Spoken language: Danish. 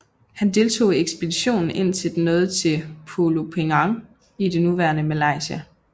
Han deltog i ekspeditionen indtil den nåede til Pulo Penang i det nuværende Malaysia